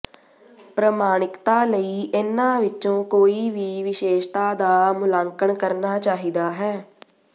ਪ੍ਰਮਾਣਿਕਤਾ ਲਈ ਇਨ੍ਹਾਂ ਵਿੱਚੋਂ ਕੋਈ ਵੀ ਵਿਸ਼ੇਸ਼ਤਾ ਦਾ ਮੁਲਾਂਕਣ ਕਰਨਾ ਚਾਹੀਦਾ ਹੈ